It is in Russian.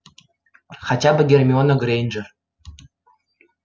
хотя бы гермиона грэйнджер